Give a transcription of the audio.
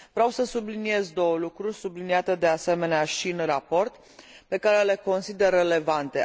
Vreau să subliniez două lucruri, subliniate de asemenea și în raport, pe care le consider relevante.